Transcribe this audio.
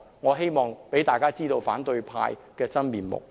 我希望讓公眾知道反對派的真面目。